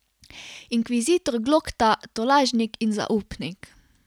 Inkvizitor Glokta, tolažnik in zaupnik?